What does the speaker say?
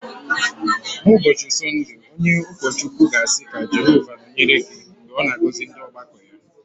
N’ụbọchị Sọnde, onye ụkọchukwu ga-asị “Ka Jehova nọnyere gị” Mgbe ọ na-agọzi ọgbakọ ya